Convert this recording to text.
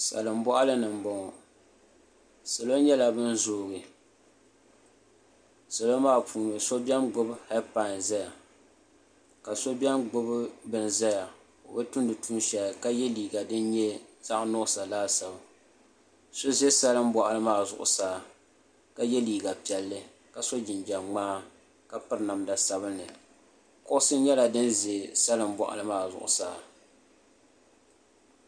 Salin boɣali ni n boŋo salo nyɛla bin zoogi salo maa puuni so biɛni gbubi heed pai ʒɛya ka so biɛni gbubi bin ʒɛya o bi tumdi tuun shɛli ka yɛ liiga din nyɛ zaɣ nuɣso laasabu so ʒɛ salin boɣali maa zuɣusaa ka yɛ liiga piɛlli ka so jinjɛm ŋmaa ka piri namda sabinli kuɣusi nyɛla din ʒɛ salin boɣali maa zuɣusaa